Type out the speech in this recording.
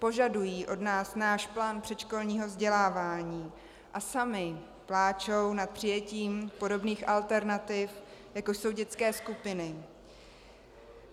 Požadují od nás náš plán předškolního vzdělávání a samy pláčou po přijetí podobných alternativ, jako jsou dětské skupiny.